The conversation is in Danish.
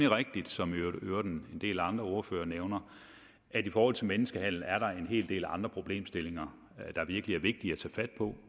rigtigt som i øvrigt en del andre ordførere nævner at i forhold til menneskehandel er der en del andre problemstillinger der virkelig er vigtige at tage fat på